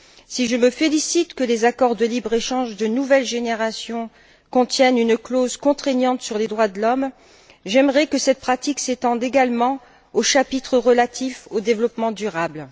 Si je me félicite que les accords de libre échange de nouvelle génération contiennent une clause contraignante sur les droits de l'homme, j'aimerais que cette pratique s'étende également au chapitre relatif au développement durable.